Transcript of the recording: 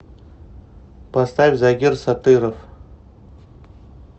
поставь загир сатыров